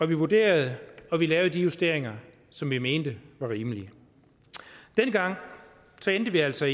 vi vurderede og vi lavede de justeringer som vi mente var rimelige dengang endte vi altså